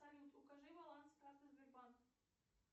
салют укажи баланс карты сбербанк